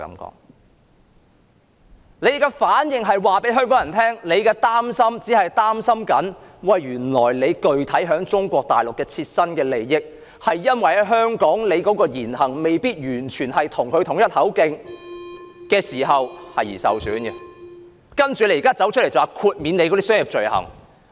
他們的反應讓香港人知道，原來他們只是擔心切身利益會因在香港的言行未必完全與中央一致而受到損害，所以才走出來要求豁免商業罪類。